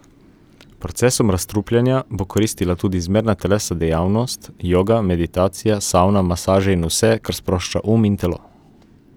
Procesom razstrupljanja bo koristila tudi zmerna telesna dejavnost, joga, meditacija, savna, masaže in vse, kar sprošča um in telo.